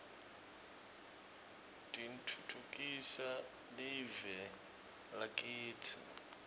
titfutfukisa live lakitsi